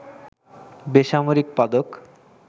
বেসামরিক পদক